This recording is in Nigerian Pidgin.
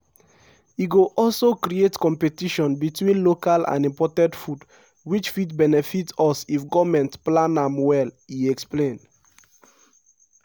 e go also create competition between local and imported food which fit benefit us if goment plan am well" e explain.